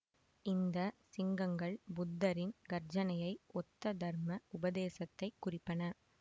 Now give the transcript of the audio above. இந்த சிங்கங்கள் புத்தரின் கர்ஜனையை ஒத்த தர்ம உபதேசத்தை குறிப்பன